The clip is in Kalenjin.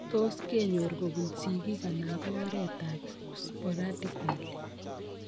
Tos kenyor kobun sigiik anan ko en oret ab sporadically